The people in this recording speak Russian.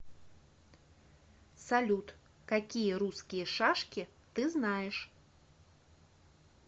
салют какие русские шашки ты знаешь